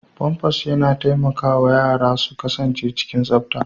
Famfas yana taimakawa yara su kasance cikin tsafta.